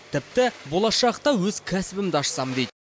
тіпті болашақта өз кәсібімді ашсам дейді